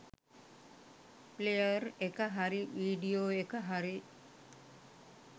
Player එක හරි video එක හරි.